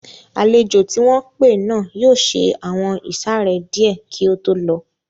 Àlejò tí wọ́n pé náà yóò ṣe àwọn ìsàrẹ́ díẹ̀ kí ó tó lọ